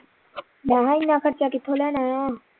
ਮੈਂ ਹਾਂ ਇੰਨਾ ਖਰਚਾ ਕਿਥੋਂ ਲੈਣਾ ਆ